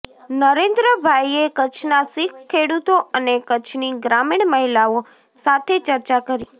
નરેન્દ્રભાઇએ કચ્છના શીખ ખેડૂતો અને કચ્છની ગ્રામીણ મહિલાઓ સાથે ચર્ચા કરી